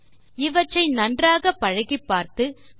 இவற்றை நன்றாகப் பழகிப்பார்த்து மேலும் என்ன செய்ய முடியும் என பார்க்கவும்